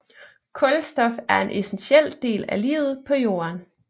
Kulstof er en essentiel del af livet på jorden